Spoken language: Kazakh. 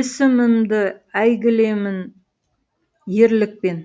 есімімді әйгілімен ерлікпен